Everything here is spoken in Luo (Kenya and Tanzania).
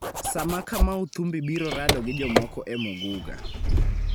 sama Kamau Thumbi biro rado gi jomoko e Muguga.